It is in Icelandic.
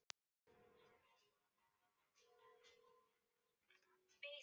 Hann er klæddur fínustu fötunum sínum eins og aðrir nemendur.